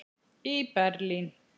í Berlín.